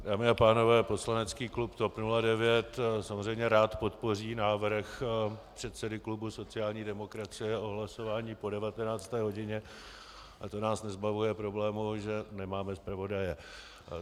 Dámy a pánové, poslanecký klub TOP 09 samozřejmě rád podpoří návrh předsedy klubu sociální demokracie o hlasování po 19. hodině, ale to nás nezbavuje problému, že nemáme zpravodaje.